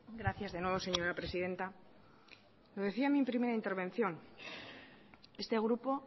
gracias de nuevo señora presidenta lo decía en mi primera intervención este grupo